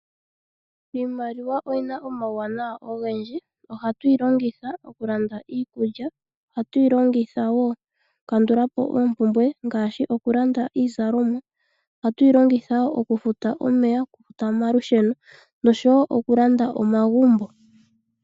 Iimaliwa oyina omauwanawa ogendji. Ohatu yi longitha okulanda iikulya. Ohatu yi longitha wo okukandula po oompumbwe ngaashi okulanda